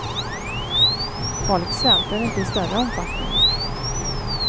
Folk svälter inte i större omfattning.